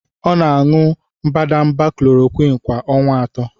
Ọ na-aṅụ mbadamba Klorokwin kwa ọnwa atọ.